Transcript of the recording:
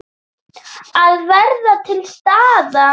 Að vera til staðar.